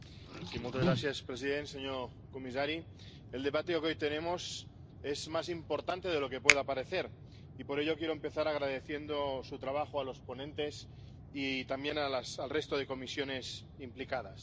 Señora presidenta, señor comisario, el debate que hoy tenemos es más importante de lo que pueda parecer y, por ello, quiero empezar agradeciendo su trabajo a los ponentes y también al resto de comisiones implicadas.